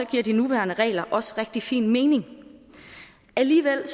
giver de nuværende regler også rigtig fin mening alligevel